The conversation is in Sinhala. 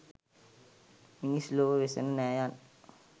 මිනිස් ලොව වෙසෙන නෑයන්